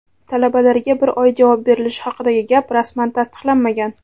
Talabalarga bir oy javob berilishi haqidagi gap rasman tasdiqlanmagan.